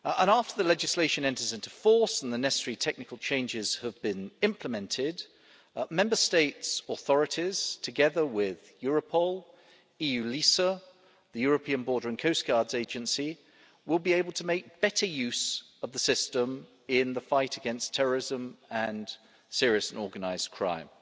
After the legislation enters into force and the necessary technical changes have been implemented, Member States' authorities, together with Europol, eu-LISA and the European Border and Coast Guard Agency, will be able to make better use of the system in the fight against terrorism and serious and organised crime.